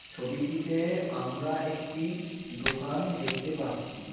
ছবিটিতে আমরা একটি দোকান দেখতে পারছি .